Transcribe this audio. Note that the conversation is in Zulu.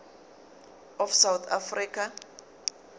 of south africa